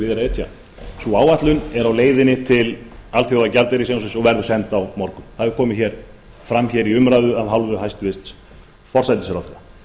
etja sú áætlun er á leiðinni til alþjóðagjaldeyrissjóðsins og verður send á morgun það hefur komið fram hér í umræðu af hálfu hæstvirts forsætisráðherra